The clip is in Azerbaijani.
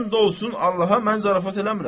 And olsun Allaha mən zarafat eləmirəm.